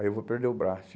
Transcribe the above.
Aí eu vou perder o braço.